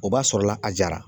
O b'a sɔrɔla a jara.